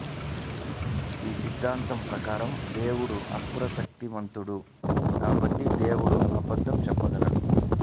ఈ సిద్ధాంతం ప్రకారం దేవుడు సర్వశక్తిమంతుడు కాబట్టి దేవుడు అబద్ధం చెప్పగలడు